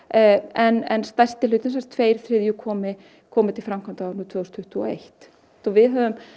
en stærsti hlutinn sem sagt tveimur þriðja komi komi til framkvæmda á árinu tvö þúsund tuttugu og eitt og við höfum